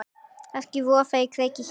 Kannski vofa á kreiki hér.